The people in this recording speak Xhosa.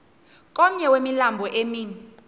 komnye wemilambo emi